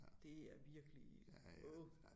Det er virkelig åh